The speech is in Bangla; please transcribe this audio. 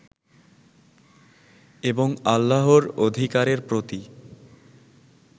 এবং আল্লাহর অধিকারের প্রতি